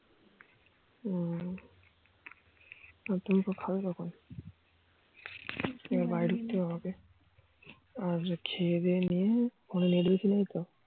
হম আর তুমি খাবে কখন আর খেয়ে দিয়ে নিয়ে phone এ net বেশি নেই তো